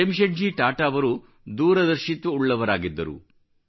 ಜೆಮ್ಶೆಡ್ಜಿ ಟಾಟಾ ಅವರು ದೂರದರ್ಶಿತ್ವವುಳ್ಳವರಾಗಿದ್ದರು